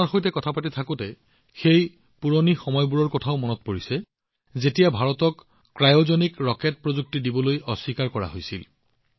আপোনালোকৰ সৈতে কথা পাতি থাকোতে মোৰ সেই পুৰণি দিনবোৰো মনত পৰিছে যেতিয়া ভাৰতক ক্ৰায়জেনিক ৰকেট প্ৰযুক্তিৰ পৰা বঞ্চিত কৰা হৈছিল